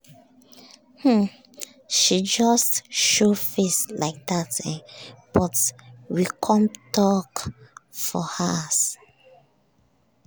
um she just show face like dat um but we com talk for hours.